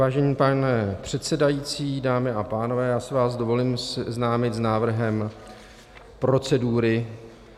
Vážený pane předsedající, dámy a pánové, já si vás dovolím seznámit s návrhem procedury.